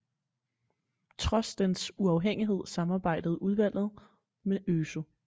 Trods dens uafhængighed samarbejdede udvalget med øsu